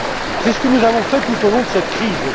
C'est ce que nous avons fait tout au long de cette crise.